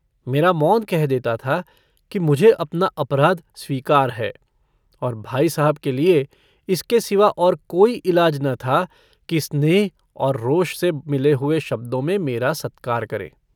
मेरा मौन कह देता था कि मुझे अपना अपराध स्वीकार है और भाई साहब के लिए इसके सिवा और कोई इलाज न था कि स्नेह और रोष से मिले हुए शब्दों में मेरा सत्कार करें।